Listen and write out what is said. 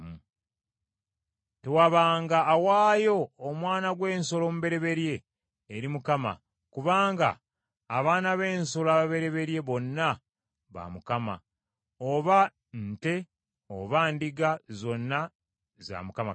“Tewabanga awaayo omwana gw’ensolo omubereberye eri Mukama , kubanga abaana b’ensolo ababereberye bonna ba Mukama , oba nte oba ndiga zonna za Mukama Katonda.